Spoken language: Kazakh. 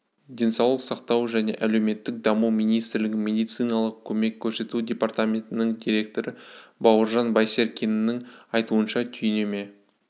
денсаулық сақтау және әлеуметтік даму министрлігінің медициналық көмек көрсету департаментінің директоры бауыржан байсеркиннің айтуынша түйнеме